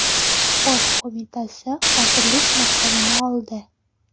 Sport Qo‘mitasi vazirlik maqomini oldi.